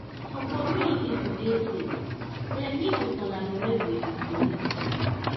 for community to dey safe dem need to collaborate with di police dem